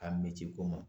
A misko ma